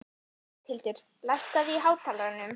Bóthildur, lækkaðu í hátalaranum.